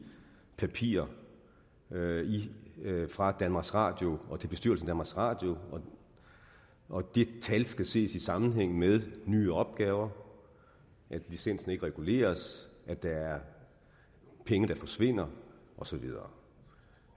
papirer fra danmarks radio og til bestyrelsen radio og de tal skal ses i sammenhæng med nye opgaver at licensen ikke reguleres at der er penge der forsvinder og så videre